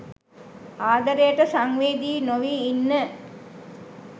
ආදරේට සංවේදී නොවී ඉන්න.